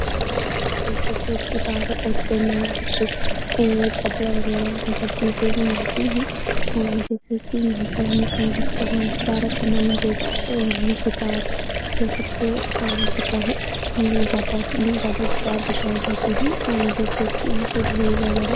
देख रही हैं बल्कि जो गिटार और पेन कुछ पेन तबला वगेरा जूते ही मिलते हैं। का सारा सामान मिलेगा और ये गिटार जो सबसे अच्छा होगा गिटार बजाये जाते हैं जैसे की यहाँ पे ढोल वगेरा --